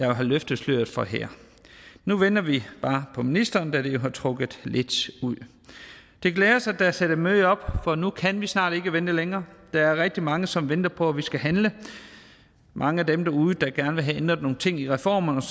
har løftet sløret for her nu venter vi bare på ministeren da det jo har trukket lidt ud det glæder os at der er sat et møde op for nu kan vi snart ikke vente længere der er rigtig mange som venter på at vi skal handle mange af dem derude der gerne vil have ændret nogle ting i reformerne